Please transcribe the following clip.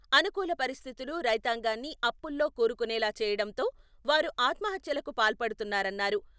అనుకూల పరిస్థితులు రైతాంగాన్ని అప్పుల్లో కూరుకునేలా చేయడంతో వారు ఆత్మహత్యలకు పాల్పడుతున్నారన్నారు.